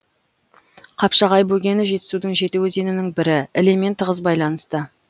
қапшағай бөгені жетісудың жеті өзенінің бірі ілемен тығыз байланысты